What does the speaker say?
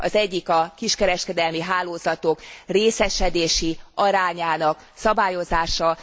Az egyik a kiskereskedelmi hálózatok részesedési arányának szabályozása.